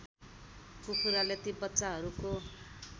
कुखुराले ती बच्चाहरूको